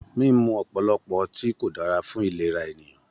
Mímú ọ̀pọ̀lọpọ̀ ọtí kò dára fún ìlera ènìyàn.